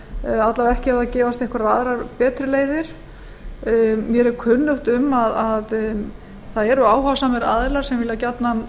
eða alla vega ekki ef það gefast einhverjar aðrar betri leiðir mér er kunnugt um að það eru áhugasamir aðilar sem vilja gjarnan